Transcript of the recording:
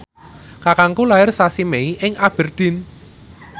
kakangku lair sasi Mei ing Aberdeen